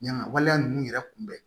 Yanga waleya ninnu yɛrɛ kun bɛ